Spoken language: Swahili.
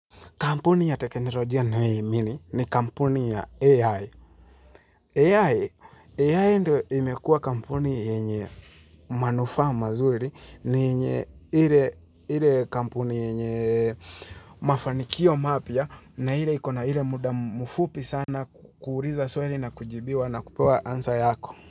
Kampuni ya teknolojia ninayoiamini ni kampuni ya AI. AI, AI ndio imekua kampuni yenye manufaa mazuri, ni yenye ile kampuni yenye mafanikio mapya, na ile ikona ile muda mfupi sana kuuliza swali na kujibiwa na kupewa answer yako.